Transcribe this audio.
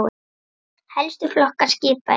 Helstu flokkar skipa eru